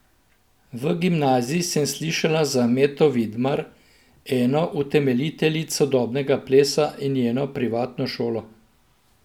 V gimnaziji sem slišala za Meto Vidmar, eno utemeljiteljic sodobnega plesa in njeno privatno šolo.